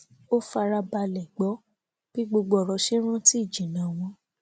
ó fara balẹ gbọ bí gbogbo òrò ṣe ń rántí ìjìnnà wọn